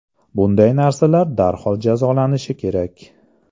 Bunday narsalar darhol jazolanishi kerak.